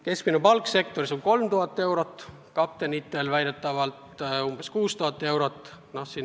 Keskmine palk sektoris on 3000 eurot, kaptenitel väidetavalt umbes 6000 eurot.